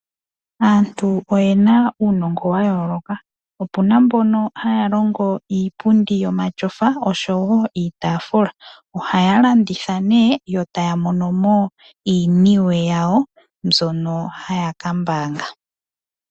Aantu oye na uunongo wa yooloka. Opuna mbono haya longo iipundi yomatyofa osho wo iitaafula. Ohaya landitha nee eta ya mono mo iiniwe yawo mbyono haya ka mbaanga.